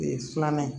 filanan ye